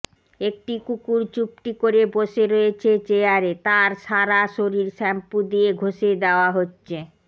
একটি কুকুর চুপটি করে বসে রয়েছে চেয়ারে তার সারা শরীর শ্যাম্পু দিয়ে ঘষে দেওয়া হচ্ছে